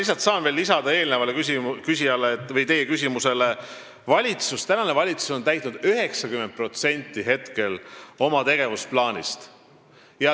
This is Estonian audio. Ma saan veel lisada eelnevale küsijale või teie küsimusele vastuseks, et praegune valitsus on täitnud nüüdseks 90% oma tegevusplaanist.